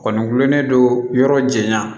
Kɔni gulonnen don yɔrɔ janya